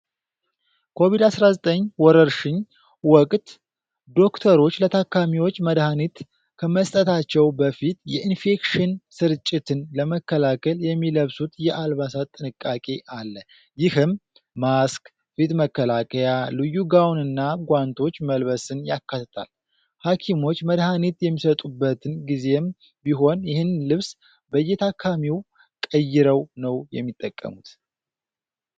ኮቪድ-19 ወረርሽኝ ወቅት ዶክተሮች ለታካሚዎች መድሃኒት ከመስጠታቸው በፊት የኢንፌክሽን ስርጭትን ለመከላከል የሚለብሱት የአልባሳት ጥንቃቄ አለ። ይህም ማስክ፣ ፊት መከላከያ፣ ልዩ ጋውንና ጓንቶች መልበስን ያካትታል። ሐኪሞች መድሃኒት የሚሰጡበትን ጊዜም ቢሆን ይህን ልብስ በየታካሚው ቀይረው ነው የሚጠቀሙት።